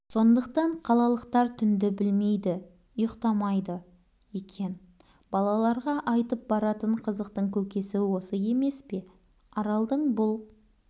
соңдықтан қалалықтар түнді білмейді ұйықтамай-ды екен балаларға айтып баратын қызықтың көкесі осы емес пе аралдың бұл